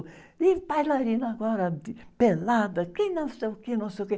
E bailarina agora de, pelada, que não sei o que, não sei o que.